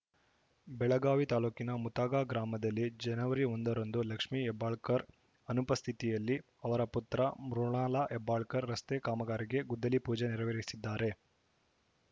ಬೆಳಗಾವಿ ತಾಲೂಕಿನ ಮುತಗಾ ಗ್ರಾಮದಲ್ಲಿ ಜನವರಿ ಒಂದರಂದು ಲಕ್ಷ್ಮಿ ಹೆಬ್ಬಾಳಕರ್‌ ಅನುಪಸ್ಥಿತಿಯಲ್ಲಿ ಅವರ ಪುತ್ರ ಮೃಣಾಲ ಹೆಬ್ಬಾಳಕರ್‌ ರಸ್ತೆ ಕಾಮಗಾರಿಗೆ ಗುದ್ದಲಿ ಪೂಜೆ ನೆರವೇರಿಸಿದ್ದಾರೆ